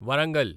Warangal